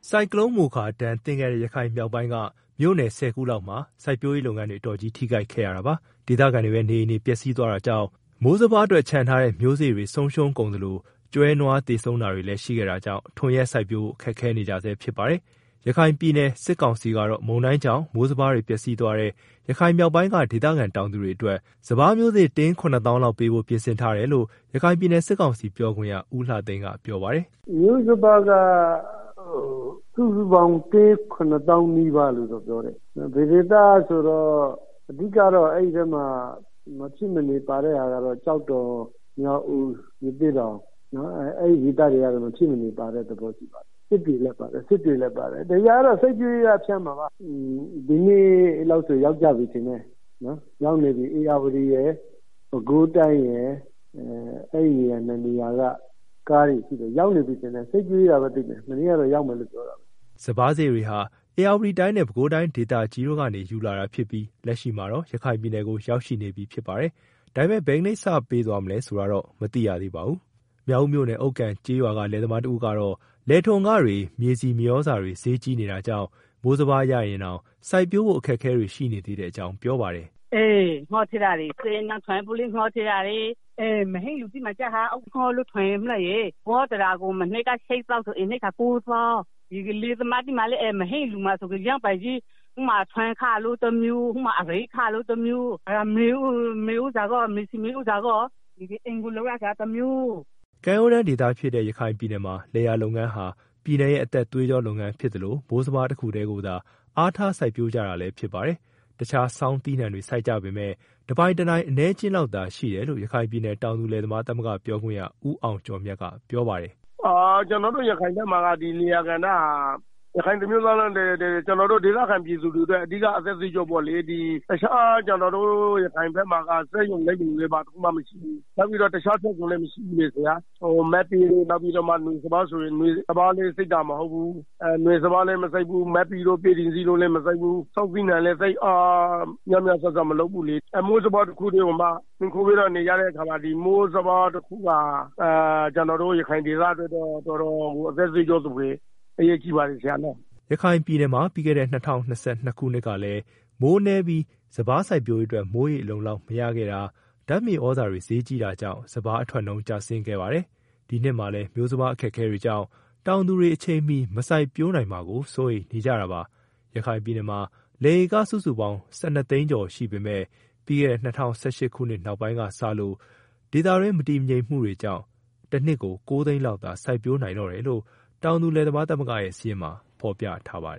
ဆိုင်ကလုန်း မိုခါ ဒဏ်သင့်ခဲ့တဲ့ ရခိုင်မြောက်ပိုင်းက မြို့နယ် ၁ဝ ခုလောက်မှာ စိုက်ပျိုးရေး လုပ်ငန်းတွေ အတော်ကြီး ထိခိုက်ခဲ့ရတာပါ။ ဒေသခံတွေရဲ့ နေအိမ်တွေ ပျက်စီးသွားတာကြောင့် မိုးစပါးအတွက် ချန်ထားတဲ့ မျိုးစေ့တွေ ပျက်စီးသွားကြသလို ကျွဲ၊ နွား သေဆုံးတာတွေ လည်း ရှိခဲ့တာကြောင့် ထွန်ယှက်စိုက်ပျိုးဖို့ ခက်ခဲနေကြဆဲ ဖြစ်ပါတယ်။ ရခိုင်ပြည်နယ် စစ်ကောင်စီကတော့ မုန်တိုင်းကြောင့် မျိုးစပါးတွေ ပျက်စီးသွားတဲ့ ရခိုင်မြောက် ပိုင်းက ဒေသခံ တောင်သူတွေအတွက် စပါးမျိုးစေ့ တင်း ၇၀,၀၀၀ လောက် ပေးဖို့ပြင်ဆင်ထားတယ်လို့ ရခိုင်ပြည်နယ် စစ်ကောင်စီပြောခွင့်ရ ဦးလှသိန်းကပြောပါတယ်။ “ မျိုးစပါးက စုစုပေါင်း သိန်း ၇ဝ,ဝဝဝ လို့တော့ပြောတယ်၊ အဓိကတော့ အဲဒီဘက်မှာ မဖြစ်မနေ ပါတဲ့ဟာကတော့ ကျောက်တော် မြောက်ဦး ရသေ့တောင် အဲဒီဒေသတွေက မဖြစ်မနေပါတဲ့ သဘောရှိပါတယ်၊ စစ်တွေလည်းပါတယ် ဒီဟာကတော့ စိုက်ပျိုးရေးက ဖြန့်မှာပါ၊ ဒီနေ့ လောက်ဆို ရောက်ကြပြီထင်တယ်၊ ရောက်နေပြီ ဧရာဝတီရယ် ပဲခူးတိုင်းရယ် အဲ ၂နေရာက ရောက်နေပြီထင်တယ် မနေ့ကတော့ ရောက်မယ်လို့ပြောတယ်။ ” စပါးမျိုးစေ့တွေဟာ ဧရာဝတီတိုင်းနဲ့ ပဲခူးတိုင်းဒေသကြီးတို့နေ ယူလာတာဖြစ်ပြီး လက်ရှိမှာ တော့ ရခိုင်ပြည်နယ်ကို ရောက်ရှိနေပြီ ဖြစ်ပါတယ်။ဒါပေမဲ့ ဘယ်နေ့စ တင်ပေးသွားမလဲ ဆိုတာကိုတော့ မသိရသေးပါဘူး။ မြောက်ဦးမြို့နယ် ဥက္ကန်ကျေးရွာက လယ်သမားတဦးကတော့ လယ်ထွန်ခတွေ မြေဆီမြေသြဇာတွေ ဈေးကြီးနေတာကြောင့် မိုးစပါး ရရင်တောင် စိုက်ပျိုးဖို့ အခက်အခဲတွေ ရှိနေသေးတဲ့အကြောင်း ပြောပါတယ်။ “ ငှားထည့်ရတယ် စက်နဲ့ ထွန်ဖို့လည်းငှားထည့်ရတယ်၊ စက်မရှိတဲ့ သူတွေက ငှားပြီးတော့ ထွန်ရတယ်၊ ဝါးတရာ ကို မနှစ်က ၈သောင်းပေးရတယ် ဒီနှစ်တော့ ၉သောင်းပေးရတယ်၊ လယ် သမားတွေမှာလည်း ထွန်ခလို့မျိုး စပါးရိတ်ခတမျိုး မြေဆီ မြေသြဇာဖို့ အိမ်ပြန် ဆောက်ရတာ ကတမျိုး အခက်အခဲတွေကြီးပဲ။ ” ကမ်းရိုးတန်းဒေသဖြစ်တဲ့ ရခိုင်ပြည်နယ်မှာ လယ်ယာလုပ်ငန်းဟာ ပြည်နယ်ရဲ့ အသက် သွေးကြောလုပ်ငန်းဖြစ်သလို မိုးစပါးတခုတည်းကိုသာ အားထား စိုက်ပျိုးကြ တာလည်းဖြစ် ပါတယ်။ တခြား ဆောင်းသီးနှံတွေ စိုက်ကြပေမဲ့ တပိုင်တနိုင် အနည်းအကျဉ်းလောက်သာ ရှိတယ်လို့ ရခိုင်ပြည်နယ် တောင်သူလယ်သမားသမဂ္ဂ ပြောခွင့်ရ ဦးအောင်ကျော်မြတ်ကပြောပါတယ်။ “ ကျနော်တို့ ရခိုင်ပြည်နယ်မှာ လယ်ယာလုပ်ငန်းဟာ ဒေသခံပြည်သူတွေအတွက် အဓိက အသက်သွေးကြောပေါ့လေ ကျနော်တို့ ရခိုင်မှာ စက်ရုံ အလုပ်ရုံတွေလည်း ဘာတခုမှမရှိ ဘူးလေ၊ နောက်ပြီးတော့ တခြား ထွက်ကုန်လည်း မရှိဘူုးလေ၊ မတ်ပဲလည်းမစိုက်ဘူး နောက်ပြီးတော့ နွေစပါးလည်း စိုက်တာမဟုတ်ဘူး၊ ဆောင်းသီးနှံလည်း သိပ်များများ စားစားမလုပ်ဘူးလေ၊ မိုးစပါးတခုတည်းကို မှီခိုပြီးတော့ နေကြတဲ့အခါ မိုးစပါးတခုဟာ ကျနော်တို့ ရခိုင်ဒေသအတွက်တော့ တော်တော်ကို အသက်သွေးကြောသဖွယ် အရေးကြီးပါ တယ်နော်။” ရခိုင်ပြည်နယ်မှာ ပြီးခဲ့တဲ့ ၂၀၂၂နှစ်ခုနှစ်ကလည်း မိုးနည်းပြီး စိုက်ပျိုးရေးအတွက် မိုးရေအလုံအလောက် မရခဲ့တာ၊ ဓာတ်မြေသြဇာတွေ ဈေးကြီးတာကြောင့် စပါးအထွက်နှုန်းကျ ဆင်းခဲ့ရပါတယ်။ ဒီနှစ်မှာလည်း မျိုးစပါး အခက်အခဲတွေကြောင့် တောင်သူတွေ အချိန်မီ မစိုက်ပျိုးနိုင်မှာကို စိုးရိမ်နေကြတာပါ။ ရခိုင်ပြည်နယ်မှာ လယ်ဧကစုစုပေါင်း ၁၂ သိန်းကျော်ရှိပေမယ့် ပြီးခဲ့တဲ့ ၂၀၁၈ ခုနှစ်နောက် ပိုင်းကစလို့ ဒေသမငြိမ်မသက်မှုတွေကြောင့် တနှစ်ကို ၉ သိန်းလောက်သာ စိုက်ပျိုးနိုင်တော့တယ်လို့ တောင်သူလယ်သမားသမဂ္ဂရဲ့ စာရင်းမှာ ဖော်ပြထားပါတ